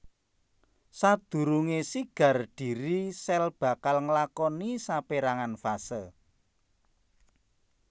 Sadurungé sigar dhiri sel bakal nglakoni sapérangan fase